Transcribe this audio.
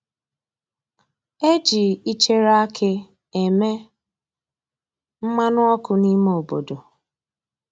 E ji ịchere akị e me mmanụ ọkụ n'ime obodo